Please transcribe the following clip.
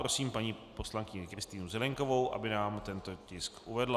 Prosím paní poslankyni Kristýnu Zelienkovou, aby nám tento tisk uvedla.